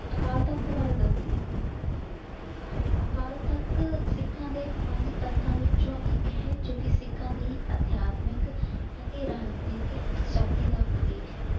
ਅਕਾਲ ਤਖਤ ਬਾਰੇ ਦੱਸਦੀ ਹਾਂ। ਅਕਾਲ ਤਖਤ ਸਿੱਖਾਂ ਦੇ ਪੰਜ ਤਖਤਾਂ ਵਿੱਚੋਂ ਇੱਕ ਹੈ। ਜੋ ਕਿ ਸਿੱਖਾਂ ਦੀ ਅਧਿਆਤਮਿਕ ਅਤੇ ਰਾਜਨੀਤਿਕ ਸ਼ਕਤੀ ਦਾ ਪ੍ਰਤੀਕ ਹੈ।